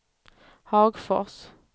Hagfors